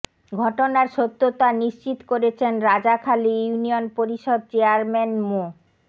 ঘটনার সত্যতা নিশ্চিত করেছেন রাজাখালী ইউনিয়ন পরিষদ চেয়ারম্যান মো